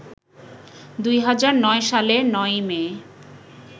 ২০০৯ সালের ৯ মে